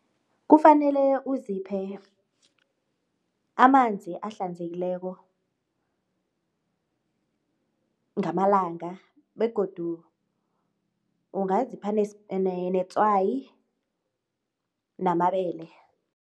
Kufanele uziphe amanzi ahlanzekileko ngamalanga begodu ungazipha netswayi namabele.